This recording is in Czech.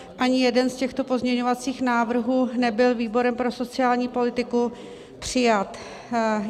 Ani jeden z těchto pozměňovacích návrhů nebyl výborem pro sociální politiku přijat.